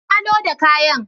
Na loda kayan.